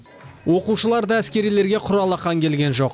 оқушылар да әскерилерге құр алақан келген жоқ